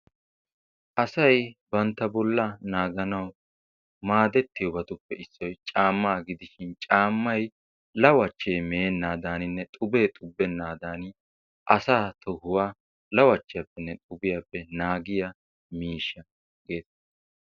Asay bantta bolla naaganwu maadetiyoobatuppe issoy caamma gidishin caammay lawachche meenadaninne xubbe xubenadan asa tohuwaa lawachchiyappenne xubiyappe naagiyaa miishsha getettees.